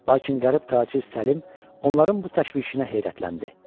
Lakin qərib tacir Səlim onların bu təşvişinə heyrətləndi.